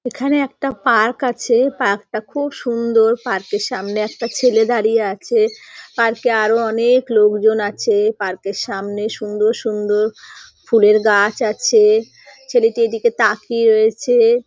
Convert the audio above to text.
এখানে একটা পার্ক আছে। পার্ক টা খুব সুন্দর। পার্ক এর সামনে একটা ছেলে দাঁড়িয়ে আছে। পার্ক -এ আরও অনেক লোকজন আছে। পার্ক এর সামনে সুন্দর সুন্দর ফুলের গাছ আছে। ছেলেটা এদিকে তাকিয়ে রয়েছে।